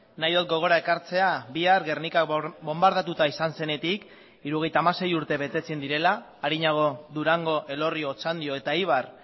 nahi dut gogora ekartzea bihar gernika bonbardatuta izan zenetik hirurogeita hamasei urte betetzen direla arinago durango elorrio otxandio eta eibar